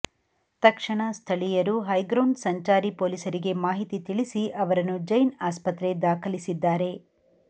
ತಕ್ಷಣ ಸ್ಥಳೀಯರು ಹೈಗ್ರೌಂಡ್ಸ್ ಸಂಚಾರಿ ಪೊಲೀಸರಿಗೆ ಮಾಹಿತಿ ತಿಳಿಸಿ ಅವರನ್ನು ಜೈನ್ ಆಸ್ಪತ್ರೆ ದಾಖಲಿಸಿದ್ದಾರೆ